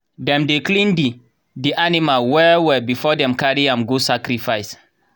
dem dey clean the the animal well well before dem carry am go sacrifice.